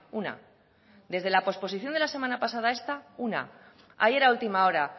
una desde la posposición de la semana pasada a esta una ayer a última hora